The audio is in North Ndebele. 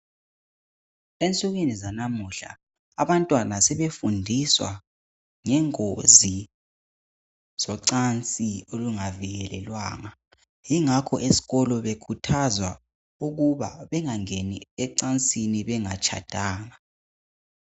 Ensukwini zanamuhla abantwana sebefundiswa ngengozi zocansi olungavikelelwanga yingakho eskolo bekhuthazwa ukuba bengangeni ecansini bengatshadanga.